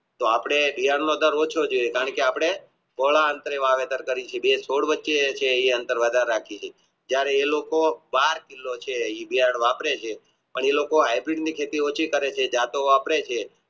તો આપણે વ્યં મગર ઓછો છે કારણકે આપણે બે છોડ વચ્ચે જે એ અંતર વધારે રાખીયે છીએ જયારે એ લોકો બાર કિલો છે એ વાપરે છે જતો વાપરે છે